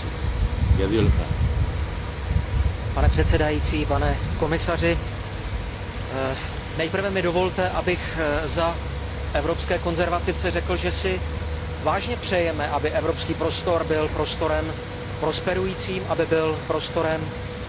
Pane předsedající, pane komisaři, nejprve mi dovolte, abych za Evropské konzervativce řekl, že si vážně přejeme, aby evropský prostor byl prostorem prosperujícím, aby byl prostorem ekonomické a sociální stability.